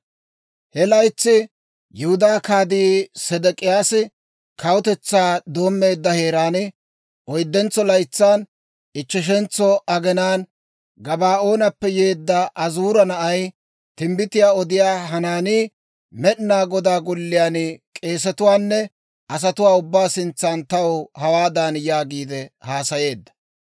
He laytsi, Yihudaa Kaatii Sedek'iyaasi kawutetsaa doommeedda heeraan, oyddentso laytsan, ichcheshentso aginaan Gabaa'oonappe yeedda Azuura na'ay timbbitiyaa odiyaa Hanaanii, Med'inaa Godaa Golliyaan k'eesetuwaanne asatuwaa ubbaa sintsan taw hawaadan yaagiide haasayeedda;